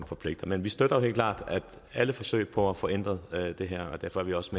forpligtende men vi støtter helt klart alle forsøg på at få ændret det her derfor er vi også